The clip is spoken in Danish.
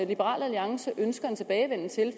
liberal alliance ønsker en tilbagevenden til